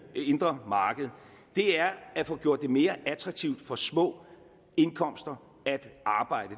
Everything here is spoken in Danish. indre marked er at få gjort det mere attraktivt for små indkomster at arbejde